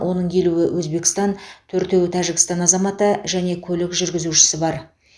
оның елуі өзбекстан төртеуі тәжікстан азаматы және көлік жүргізушісі бар